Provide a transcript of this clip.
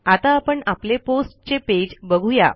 आता आपण आपले पोस्ट चे पेज बघू या